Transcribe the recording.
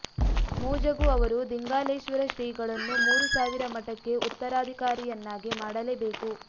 ಮೂಜಗು ಅವರು ದಿಂಗಾಲೇಶ್ವರ ಶ್ರೀಗಳನ್ನು ಮೂರು ಸಾವಿರ ಮಠಕ್ಕೆ ಉತ್ತರಾಧಿಕಾರಿಯನ್ನಾಗಿ ಮಾಡಲೇಬೇಕು